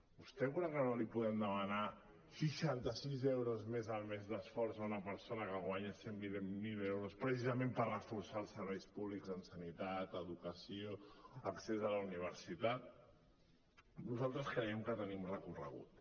vostè creu que no li podem demanar seixanta sis euros més al mes d’esforç a una persona que en guanya cent i vint miler precisament per reforçar els serveis públics en sanitat educació accés a la universitat nosaltres creiem que tenim recorregut